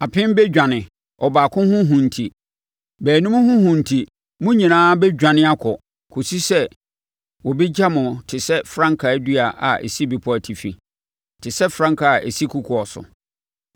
Apem bɛdwane ɔbaako ho hu nti; baanum ho hu enti mo nyinaa bɛdwane akɔ, kɔsi sɛ wɔbɛgya mo te sɛ frankaa dua a ɛsi bepɔ atifi, te sɛ frankaa a ɛsi kokoɔ so.”